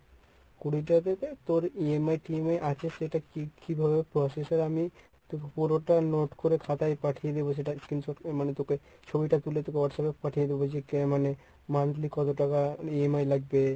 কুড়িটা থেকে তোর EMI টিএমআই আছে সেটা কি~ কিভাবে process হয় আমি তোকে পুরোটা note করে খাতায় পাঠিয়ে দেব সেটা screen shot মানে তোকে ছবিটা তুলে তোকে WhatsApp এ পাঠিয়ে দেব মানে monthly কত টাকা EMI লাগবে?